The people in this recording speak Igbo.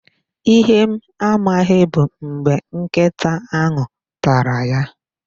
Ihe m amaghị bụ mgbe nkịta ahụ tara ya